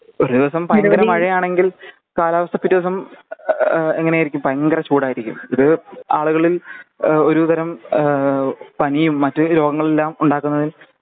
ഒരേ ദിവസം ഭയങ്കര മഴയാണെങ്കിൽ കാലാവസ്ഥ പിറ്റേസം ഏഹ് എങ്ങനെയായിരിക്കും ഭയങ്കര ചൂടായിരിക്കും ഇത് ആളുകളിൽ ഏഹ് ഒരു തരം ഏഹ് പണിയും മറ്റു രോഗങ്ങളെല്ലാം ഉണ്ടാകുന്നത്